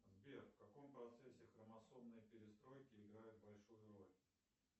сбер в каком процессе хромосомные перестройки играют большую роль